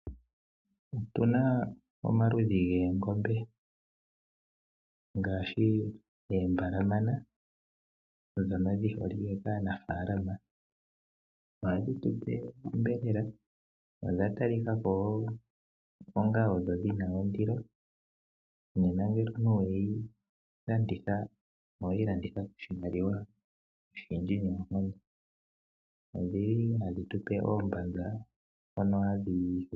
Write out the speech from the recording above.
Otuna omaludhi goongombe ngaashi oombalamana ndhono dhi holike kaanafaalama. Ohadhi tupe oshiyelelwa , odha tali kako odho onga dhina ondilo. Nena ngele oweyi landitha, oweyi landitha koshimaliwa shindji. Odhi li hadhi tupe oombanza.